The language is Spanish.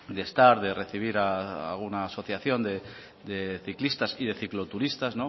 de estar de recibir a una asociación de ciclistas y de cicloturistas